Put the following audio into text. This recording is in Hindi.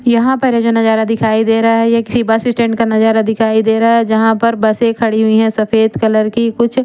यहा पर ये जो नजारा दिखाई दे रहा है ये किसी बस स्टैंड का नजारा दिखाई देरा है जहा पर बसे खड़ी हुई है सफेद कलर की कुछ--